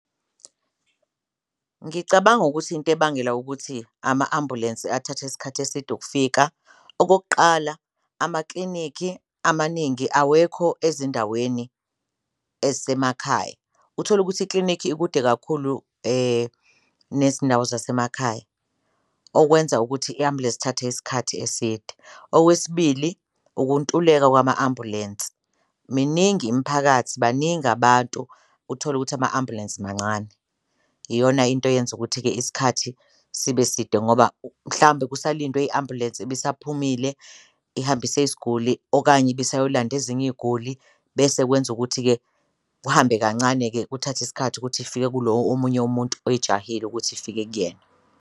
Ngicabanga ukuthi into ebangela ukuthi ama-ambulensi athathe isikhathi eside ukufika okokuqala, amaklinikhi amaningi awekho ezindaweni ezisemakhaya, uthole ukuthi ikilinikhi ikude kakhulu nezindawo zasemakhaya okwenza ukuthi i-ambulensi isikhathi eside. Okwesibili, ukuntuleka kwama-ambulensi miningi imiphakathi baningi abantu uthole ukuthi ama-ambulensi mancane iyona into eyenza ukuthi-ke isikhathi sibe side ngoba mhlawumbe kusalindiwe i-ambulensi isaphumile ihambise isguli, okanye ibisayolanda ezinye iguli. Bese kwenza ukuthi-ke kuhambe kancane-ke kuthathe isikhathi ukuthi ifike kulowo omunye umuntu oyijahile ukuthi ifike kuyena.